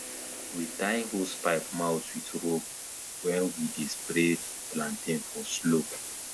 we tie hosepipe mouth with rope when we dey spray plantain for slope